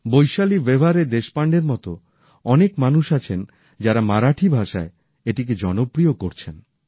বৈশালী ব্যবহারে দেশপাণ্ডের মতো অনেক মানুষ আছেন যারা মারাঠি ভাষায় এটিকে জনপ্রিয় করছেন